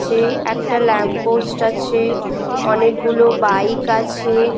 ছে একটা lamp post আছে অনেকগুলো বাইক আছে।